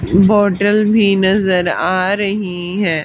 Bottle भीं नजर आ रहीं हैं।